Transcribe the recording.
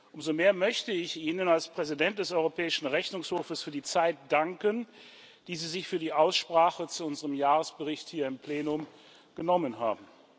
Umso mehr möchte ich Ihnen als Präsident des Europäischen Rechnungshofs für die Zeit danken, die Sie sich für die Aussprache zu unserem Jahresbericht hier im Plenum genommen haben.